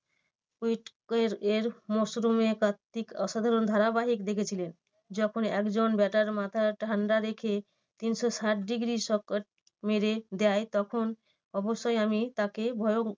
এর মরসুমে কার্তিক অসাধারণ ধারাবাহিক রেখেছিলেন। যখন একজন batter মাথা ঠান্ডা রেখে তিনশো ষাট degree shot মেরে দেয় তখন অবশ্যই আমি তাকে ভয়ং~